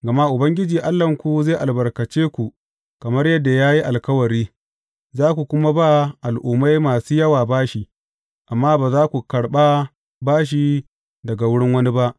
Gama Ubangiji Allahnku zai albarkace ku kamar yadda ya yi alkawari, za ku kuma ba al’ummai masu yawa bashi, amma ba za ku karɓa bashi daga wurin wani ba.